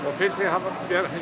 finnst ég hafa